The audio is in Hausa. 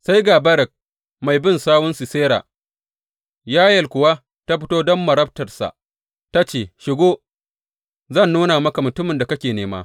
Sai ga Barak mai bin sawun Sisera, Yayel kuwa ta fito don marabtarsa, ta ce, Shigo, zan nuna maka mutumin da kake nema.